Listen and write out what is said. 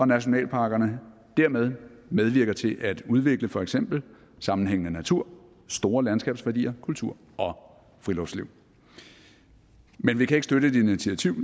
nationalparkerne dermed medvirker til at udvikle for eksempel sammenhængende natur store landskabsværdier kultur og friluftsliv men vi kan ikke støtte et initiativ